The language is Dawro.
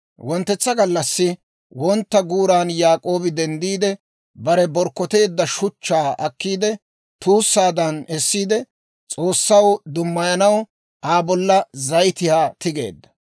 Wonttetsa gallassi wontta guuran Yaak'oobi denddiide, bare borkkoteedda shuchchaa akkiidde, tuussaadan essiide, S'oossaw dummayanaw Aa bolla zayitiyaa tigeedda.